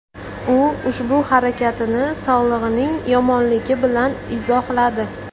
U ushbu harakatini sog‘lig‘ining yomonligi bilan izohladi.